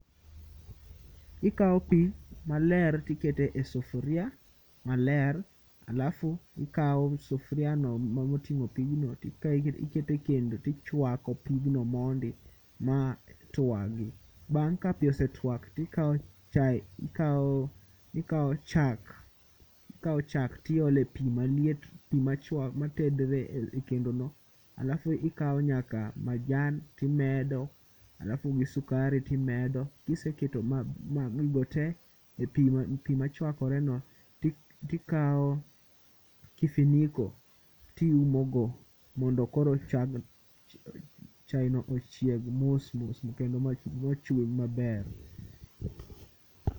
Ikawo pi maler tikete sufuria maler alafu ikawo sufuriano moting'o pigno tikawo iketo e kendo tichwako pigno mondi matwagi. Bang' ka pi osetwak tikawo chak tiole pi maliet pi matedre e kendono alafu ikawo nyaka majan timedo alafu gi sukari timedo. Kiseketo gigo tee e pi machwakoreno tikawo kifiniko tiumogo mondo koro chaeno ochieg mos mos kendo mochwiny maber.